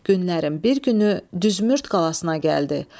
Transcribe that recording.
Günlərin bir günü Düsmürt qalasına gəldi.